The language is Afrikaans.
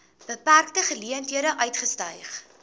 beperkte geleenthede uitgestyg